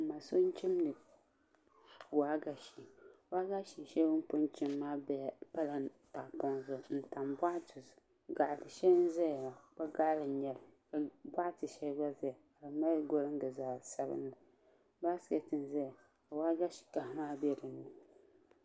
N ma so n chimdi waagashe waagashe shɛli o ni chim maa pala tahapoŋ zuɣu n tam boɣati zuɣu gaɣa bili shɛli n ʒɛya la kpa gaɣali n nyɛli boɣati shɛli gba ʒɛya n mali golingi zaɣ sabinli baaskɛt n ʒɛya ka waagashe kaha maa bɛ dinni